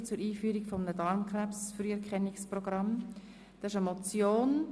Es handelt sich um eine Motion, die in der Junisession auf diese Session verschoben wurde.